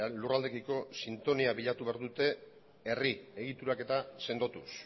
lurraldeekiko sintonia bilatu behar dute herri egituraketa sendotuz